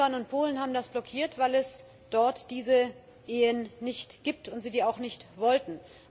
Ungarn und Polen haben das blockiert, weil es dort diese Ehen nicht gibt und sie die auch nicht wollten.